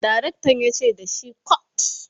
direktan yace da shi"cut!"